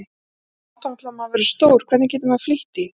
Svo langt þangað til maður verður stór, hvernig getur maður flýtt því?